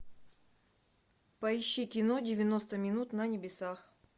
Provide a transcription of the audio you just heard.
поищи кино девяносто минут на небесах